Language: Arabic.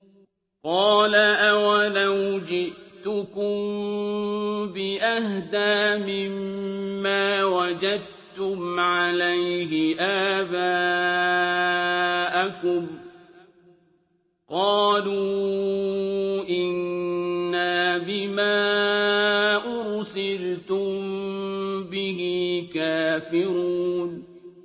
۞ قَالَ أَوَلَوْ جِئْتُكُم بِأَهْدَىٰ مِمَّا وَجَدتُّمْ عَلَيْهِ آبَاءَكُمْ ۖ قَالُوا إِنَّا بِمَا أُرْسِلْتُم بِهِ كَافِرُونَ